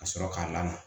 Ka sɔrɔ k'a lamaga